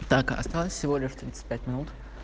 так осталось всего лишь тридцать пять минут